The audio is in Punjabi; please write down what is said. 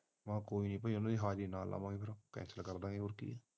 ਹਾਜਰੀ ਨਾ ਲਾਵਾਗੇ ਕੈ cancel ਕਰ ਦਾਗੇ ਹੋਰ ਕੀ